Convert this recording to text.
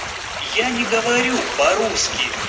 я не говорю по-русски